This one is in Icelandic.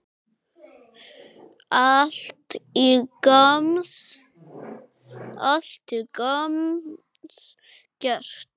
Allt til gamans gert.